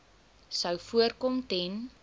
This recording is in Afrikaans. sou voorkom ten